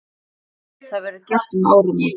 Það verði gert um áramót.